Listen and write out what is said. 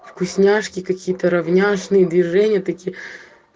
вкусняшки какие-то равнинный движения такие